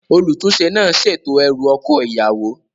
Olùtúnsẹ náà sètò erù oko ìyàwó